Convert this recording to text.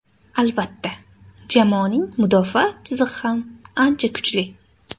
Albatta, jamoaning mudofaa chizig‘i ham ancha kuchli.